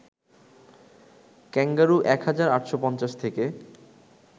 kangaroo ১ হাজার ৮৫০ থেকে